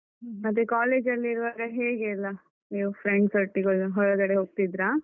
ಮತ್ತೆ college ಜಲ್ಲಿ ಇರುವಾಗ ಹೇಗೆಯೆಲ್ಲ, ನೀವು friends ಒಟ್ಟಿಗೆಲ್ಲ ಹೊರಗಡೆ ಹೋಗ್ತಿದ್ರ?